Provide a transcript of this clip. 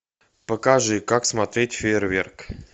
покажи как смотреть фейерверк